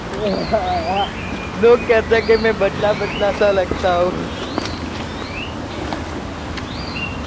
હા લોગ કહેતે હે કે મેં બદલા બદલા સા લગતા હું